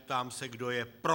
Ptám se, kdo je pro.